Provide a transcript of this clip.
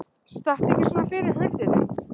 Stattu ekki svona fyrir hurðinni!